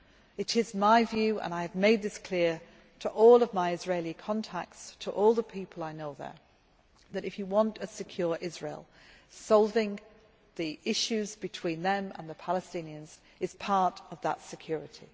It is my view, and I have made this clear to all of my Israeli contacts, to all the people I know there, that if you want a secure Israel, solving the issues between them and the Palestinians forms part of that security.